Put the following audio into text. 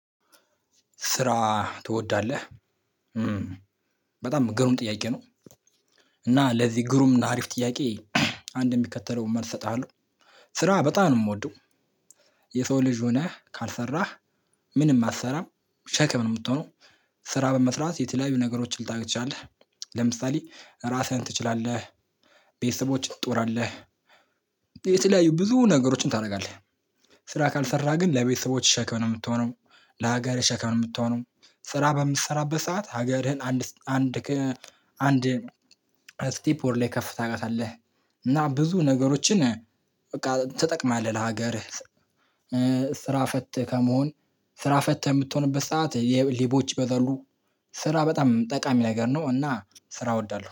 ስራ ትወዳለህ በጣም ግሩም ጥያቄ ነው። እና ለዚህ ግሩም እና አሪፍ ጥያቄ። አንድ የሚከተለውን መልስ እሰጥሃለሁ ስራ በጣም ነው የምወደው። የሰው ልጅ ሆነህ ካልሰራህ ምንም አትሰራም ሸክም ነው የምትሆነው። ስራ በመስራት የተለያዩ ነገሮችን ልታገኝ ትችላለህ። ለምሳሌ ራስህን ትችላለህ። ቤተሰቦችን ትጦራለህ። የተለያዩ ብዙ ነገሮችን ታደርጋለህ። ስራ ካልሰራ ግን ለቤተሰቦች ሸክም ነው የምትሆነው። ለሀገር ሸክም ነው የምትሆነው። ስራ በምትሰራበት ሰዓት ሀገርህን አንድ አንድ አንድ ስቲፕ ወደ ላይ ከፍ ታረጋታለህ። እና ብዙ ነገሮችን በቃ ትጠቅማለህ ለሀገርህ። ስራ ፈት ከመሆን ስራ ፈት የምትሆንበት ሰዓት የሌቦች ይበዛሉ። ስራ በጣም ጠቃሚ ነገር ነው እና ስራ እወዳለሁ